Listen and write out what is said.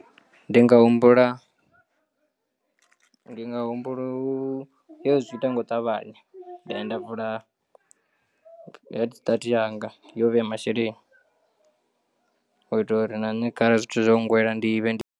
Ndi nga humbula ndi nga humbula u yo zwi ita nga u ṱavhanya nda ya nda vula head start yanga yo vheya masheleni u itela uri na nṋe khare zwithu zwo nngwela ndi vhe ndi.